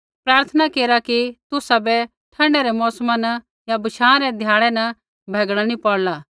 प्रार्थना केरा कि तुसाबै ठण्डै रै मौसमा न या बशाँ रै ध्याड़ै न भैगणा नी पौड़ला